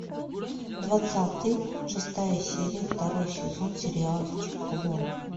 двадцатый шестая серия второй сезон сериальчик клон